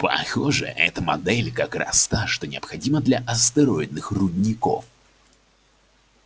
похоже эта модель как раз та что необходима для астероидных рудников